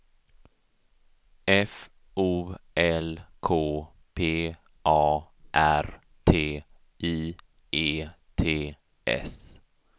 F O L K P A R T I E T S